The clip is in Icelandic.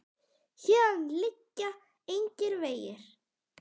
Héðan liggja engir vegir.